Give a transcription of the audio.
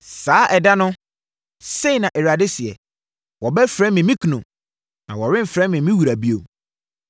“Saa ɛda no,” sei na Awurade seɛ, “Wobɛfrɛ me ‘me kunu’; na woremfrɛ me ‘me wura’ bio.